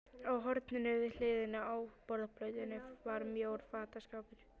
Í horninu við hliðina á borðplötunni var mjór fataskápur.